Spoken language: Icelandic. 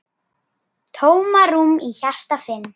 Tómarúm í hjarta finn.